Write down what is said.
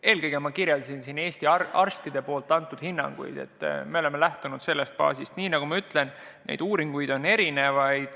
Eelkõige ma kirjeldasin Eesti arstide antud hinnanguid, et me oleme lähtunud sellest baasist, et neid uuringuid on erinevaid.